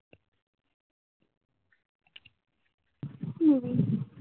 হম